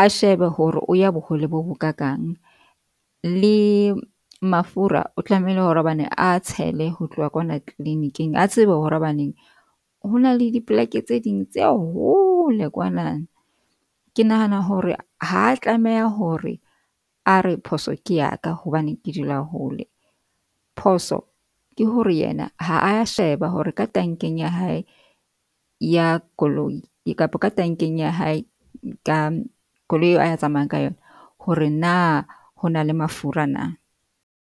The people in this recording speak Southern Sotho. a shebe hore o ya bohole bo bokakang. Le mafura o tlamehile hore hobane a tshele ho tloha ka kwana clinic-ing. A tsebe hore hobaneng ho na le dipoleke tse ding tse hole kwana. Ke nahana hore ha tlameha hore a re phoso ke ya ka hobane ke dula hole. Phoso ke hore yena ha a sheba hore ka tankeng ya hae ya koloi kapa ka tankeng ya hae ka koloi eo a tsamayang ka yona. Hore na ho na le mafura na.